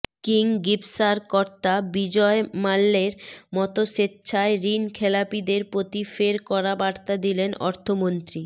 Kingfisher কর্তা বিজয় মাল্যের মতো স্বেচ্ছায় ঋণখেলাপিদের প্রতি ফের কড়া বার্তা দিলেন অর্থমন্ত্রী